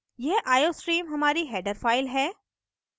यह iostream हमारी header file है